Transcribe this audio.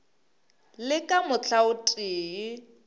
le ka mohla o tee